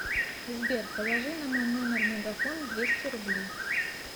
сбер положи на мой номер мегафон двести рублей